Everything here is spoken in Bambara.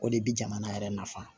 O de bi jamana yɛrɛ nafa